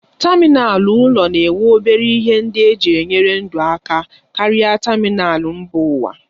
Tamịnal ụlọ na-enwe obere ihe ndị eji enyere ndụ aka karịa tamịnal mba ụwa.